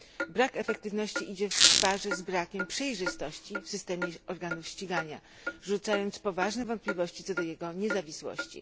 Brak efektywności idzie w parze z brakiem przejrzystości w systemie organów ścigania, rzucając poważne wątpliwości co do jego niezawisłości.